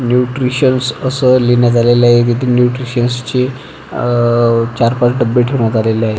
Nutritions अस लिहण्यात आलेल आहे तिथे न्यूट्रिशन्स चे अह चार पाच डब्बे ठेवण्यात आलेले आहेत.